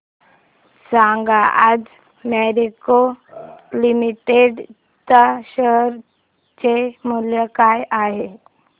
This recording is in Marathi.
सांगा आज मॅरिको लिमिटेड च्या शेअर चे मूल्य काय आहे